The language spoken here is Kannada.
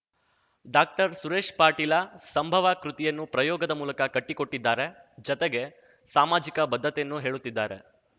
ಡಾಕ್ಟರ್ಸುರೇಶ್ ಪಾಟೀಲ ಸಂಭವ ಕೃತಿಯನ್ನು ಪ್ರಯೋಗದ ಮೂಲಕ ಕಟ್ಟಿಕೊಟ್ಟಿದ್ದಾರೆ ಜತೆಗೆ ಸಾಮಾಜಿಕ ಬದ್ಧತೆಯನ್ನು ಹೇಳುತ್ತಿದ್ದಾರೆ